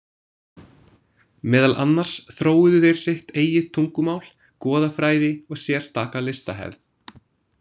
Meðal annars þróuðu þeir sitt eigið tungumál, goðafræði og sérstaka listahefð.